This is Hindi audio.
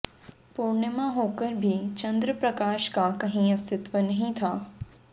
पुर्णिमा होकर भी चंद्रप्रकाशका कहीं अस्तित्व ही नहीं था